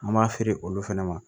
An b'a feere olu fɛnɛ ma